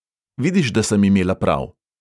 Vidiš, da sem imela prav!